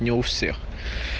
не у всех